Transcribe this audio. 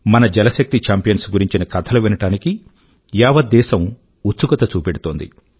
మన జలశక్తి ఛాంపియన్స్ గురించిన కథలు వినడానికి యావత్ దేశం ఉత్సుకత చూపెడుతోంది